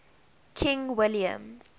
king william